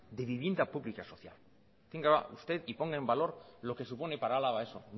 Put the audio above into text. de vivienda pública social tenga usted y ponga en valor lo que supone para álava eso